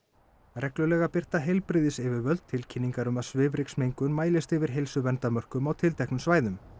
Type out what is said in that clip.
reglulega birta heilbrigðisyfirvöld tilkynningar um að svifryksmengun mælist yfir heilsuverndarmörkum á tilteknum svæðum